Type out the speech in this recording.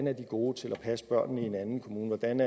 er gode til at passe børnene i en anden kommune hvordan